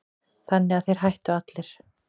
Þannig að þeir hættu allir.